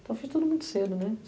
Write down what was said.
Então eu fiz tudo muito cedo, né?